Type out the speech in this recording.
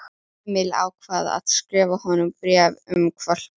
Emil ákvað að skrifa honum bréf um hvolpinn.